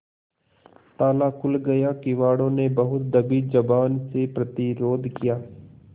ताला खुल गया किवाड़ो ने बहुत दबी जबान से प्रतिरोध किया